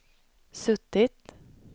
suttit